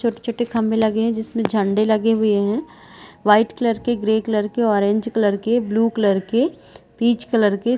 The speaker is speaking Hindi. छोटे -छोटे खम्भे लगे हुए है जिसमें झंडे लगे हुए है वाइट कलर के ग्रे कलर के ऑरेंज कलर के ब्लू कलर के पिच कलर के--